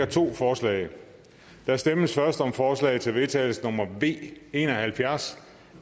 to forslag der stemmes først om forslag til vedtagelse nummer v en og halvfjerds